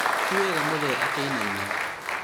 tiwega mũthee akĩinaina